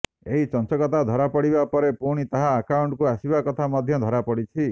ଏହି ଚଞ୍ଚକତା ଧରାପଡ଼ିବାପରେ ପୁଣି ତାହା ଆକାଣ୍ଟକୁ ଆସିବା କଥା ମଧ୍ୟ ଧରାପଡ଼ିଛି